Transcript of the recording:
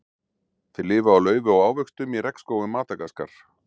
Þeir lifa á laufi og ávöxtum í regnskógum Madagaskar.